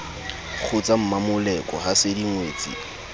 kgotsa mmamoleko ha se dingwetsi